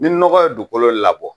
Ni nɔgɔ ye dugukolo labɔ